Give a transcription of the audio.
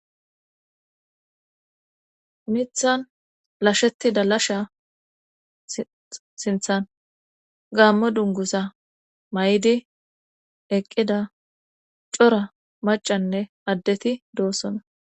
mithan lashetida lasha sinthan gaammo dunguza may7di eqqida cora macanne addeti doossona